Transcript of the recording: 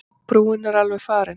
Brúin er alveg farin.